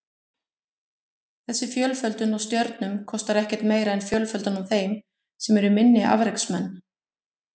Þessi fjölföldun á stjörnum kostar ekkert meira en fjölföldun á þeim sem eru minni afreksmenn.